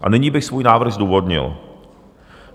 A nyní bych svůj návrh zdůvodnil.